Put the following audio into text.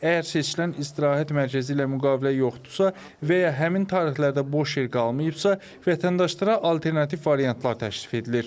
Əgər seçilən istirahət mərkəzi ilə müqavilə yoxdursa və ya həmin tarixlərdə boş yer qalmayıbsa, vətəndaşlara alternativ variantlar təşrif edilir.